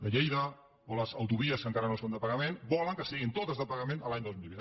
de lleida o les autovies que encara no són de pagament volen que siguin totes de pagament l’any dos mil vint